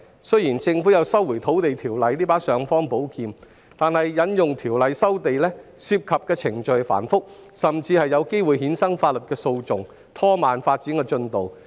雖然政府有《收回土地條例》這把尚方寶劍，但引用《條例》收地，不但程序繁複，而且有機會衍生法律訴訟，以致拖慢發展進度。